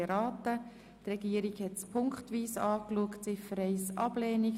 Die Regierung hat punktweise Folgendes beantragt: